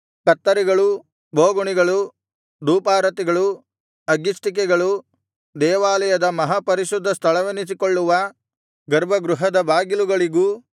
ಕತ್ತರಿಗಳು ಬೋಗುಣಿಗಳು ಧೂಪಾರತಿಗಳು ಅಗ್ಗಿಷ್ಟಿಕೆಗಳು ದೇವಾಲಯದ ಮಹಾಪರಿಶುದ್ಧ ಸ್ಥಳವೆನಿಸಿಕೊಳ್ಳುವ ಗರ್ಭಗೃಹದ ಬಾಗಿಲುಗಳಿಗೂ